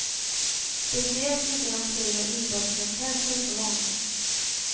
Speciellt inte i de krig av inbördeskaraktär som blivit så vanliga.